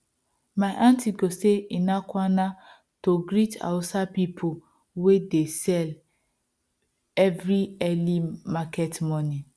my aunty go say ina kwana to greet hausa people wey de sell every early market morning